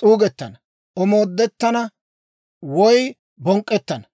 s'uugettana, omoodettana woy bonk'k'ettana.